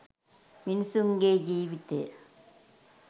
මිනිසුන් ගේ ජීවිතය